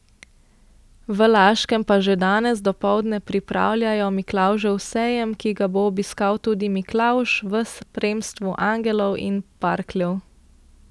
V Laškem pa že danes dopoldne pripravljajo Miklavžev sejem, ki ga bo obiskal tudi Miklavž v spremstvu angelov in parkljev.